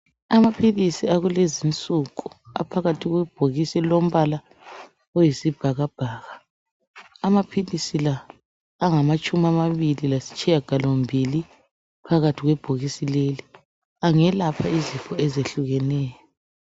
Amaphilisi akulezinsuku aphakathi kwebhokisi elilombala oyisibhakabhaka . Amaphilisi la amangamatshumi amabili lesitshiyagalombili ebhokisini. Angelapha izifo ezitshiyeneyo.